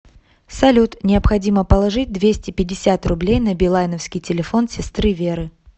салют необходимо положить двести пятьдесят рублей на билайновский телефон сестры веры